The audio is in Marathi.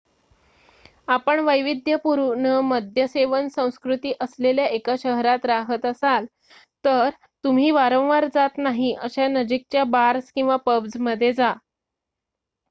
आपण वैविध्यपूर्ण मद्यसेवन संस्कृती असलेल्या एका शहरात राहत असाल तर तुम्ही वारंवार जात नाही अशा नजिकच्या बार्स किंवा पब्जमध्ये जा